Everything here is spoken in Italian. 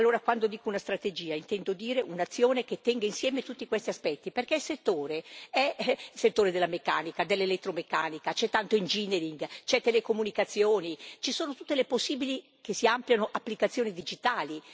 Allora, quando dico una strategia, intendo dire un'azione che tenga insieme tutti questi aspetti, perché il settore è il settore della meccanica, dell'elettromeccanica, c'è tanto engineering ci sono le telecomunicazioni, ci sono tutte le possibili applicazioni digitali.